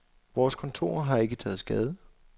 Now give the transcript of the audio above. Vores kontorer har ikke taget skade.